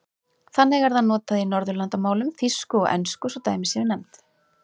Þannig er það notað í Norðurlandamálum, þýsku og ensku svo dæmi séu nefnd.